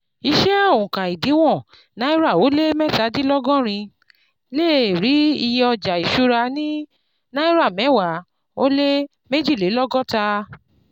Iṣẹ́ oùnka ìdíwọ̀n náírà ó lé mẹ́tàdinlọ́gọ́rin lé è rí iye ọjà ìṣúra ní náírà mẹ́wa ó lé méjilelọ́gọ́ta.